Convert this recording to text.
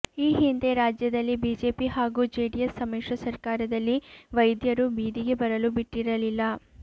ಈ ಹಿಂದೆ ರಾಜ್ಯದಲ್ಲಿ ಬಿಜೆಪಿ ಹಾಗೂ ಜೆಡಿಎಸ್ ಸಮಿಶ್ರ ಸರಕಾರದಲ್ಲಿ ವೈದ್ಯರು ಬೀದಿಗೆ ಬರಲು ಬಿಟ್ಟಿರಲಿಲ್ಲ